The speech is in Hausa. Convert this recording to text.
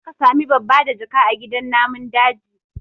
Za ka sami babbadajaka a gidan namun daji